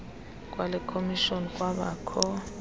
kwale khomishoni kwabakho